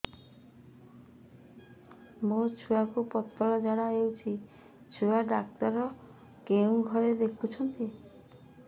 ମୋର ଛୁଆକୁ ପତଳା ଝାଡ଼ା ହେଉଛି ଛୁଆ ଡକ୍ଟର କେଉଁ ଘରେ ଦେଖୁଛନ୍ତି